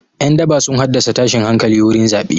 Ƴan daba sun haddasa tashin hankali wurin zaɓe.